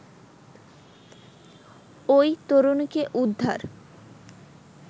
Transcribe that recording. ওই তরুণীকে উদ্ধার